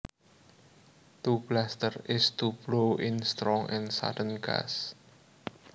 To bluster is to blow in strong and sudden gusts